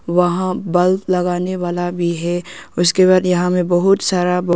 वहां बल्ब लगाने वाला भी है ओर उसके बाद यहां में बहुत सारा--